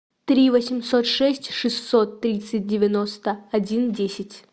три восемьсот шесть шестьсот тридцать девяносто один десять